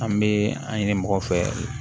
An bɛ an ɲini mɔgɔ fɛ